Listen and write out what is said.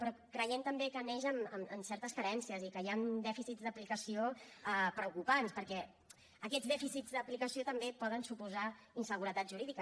però creiem també que neix amb certes carències i que hi han dèficits d’aplicació preocupants perquè aquests dèficits d’aplicació també poden suposar inseguretat jurídica